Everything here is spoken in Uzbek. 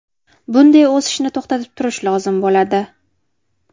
Bunday o‘sishni to‘xtatib turish lozim bo‘ladi.